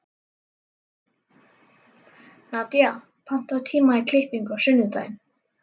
Nadía, pantaðu tíma í klippingu á sunnudaginn.